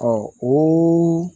o